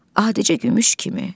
Adicə gümüş kimi.